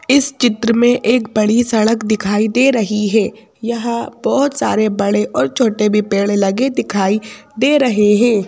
इस चित्र में एक बड़ी सड़क दिखाई दे रही है यहां बहोत सारे बड़े और छोटे भी पेड़ लगे दिखाई दे रहे हैं।